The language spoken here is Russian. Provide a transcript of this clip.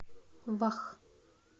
вах